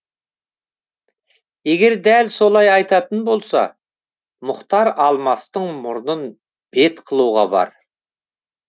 егер дәл солай айтатын болса мұхтар алмастың мұрнын бет қылуға бар